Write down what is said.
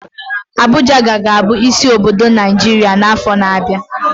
Abuja ka ga-abụ isi obodo Naijiria n'afọ na-abịa